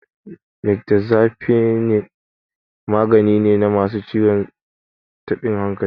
Mirtazapine magani ne na masu ciwon tabin hankali.